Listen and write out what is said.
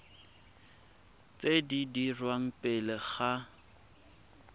tse di dirwang pele ga